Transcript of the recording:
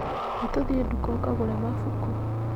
Nĩtũthiĩ duka ũkagure mabuku.